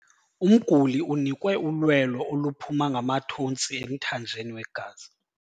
Umguli unikwe ulwelo oluphuma ngamathontsi emthanjeni wegazi.